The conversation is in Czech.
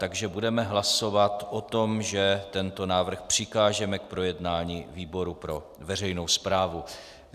Takže budeme hlasovat o tom, že tento návrh přikážeme k projednání výboru pro veřejnou správu.